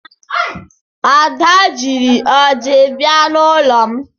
Ada jiri ọjị bịa n'ụlọ m.